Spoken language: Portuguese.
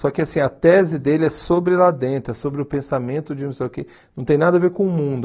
Só que assim a tese dele é sobre lá dentro, é sobre o pensamento de não sei o quê... Não tem nada a ver com o mundo.